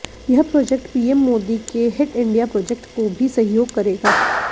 यह project PM Modi के hit India project को भी सहयोग करेगा